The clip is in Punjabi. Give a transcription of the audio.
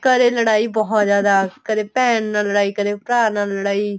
ਘਰੇ ਲੜਾਈ ਬਹੁਤ ਜਿਆਦਾ ਕਦੇ ਭੇਣ ਨਾਲ ਲੜਾਈ ਕਦੇ ਭਰਾ ਨਾਲ ਲੜਾਈ